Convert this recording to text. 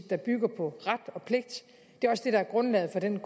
der bygger på ret og pligt det er også det der er grundlaget for den